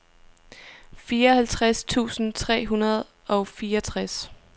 fireoghalvtreds tusind tre hundrede og fireogtres